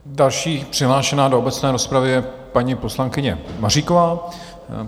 Další přihlášená do obecné rozpravy je paní poslankyně Maříková.